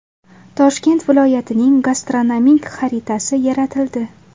Toshkent viloyatining gastronomik xaritasi yaratildi.